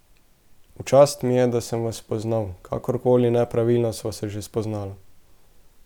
V čast mi je, da sem vas spoznal, kakorkoli nepravilno sva se že spoznala.